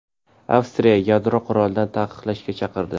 Avstriya yadro qurolini taqiqlashga chaqirdi.